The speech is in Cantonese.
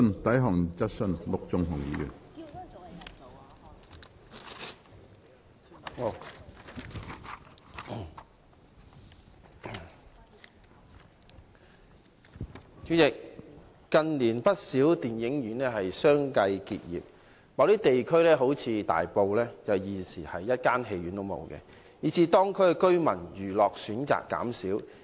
主席，近年，有不少電影院相繼結業，某些地區現已沒有電影院，以致當區居民的娛樂選擇減少。